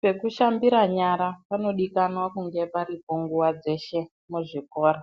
Pekushambira nyara panodiwa kunge paripo nguwa dzese muzvikora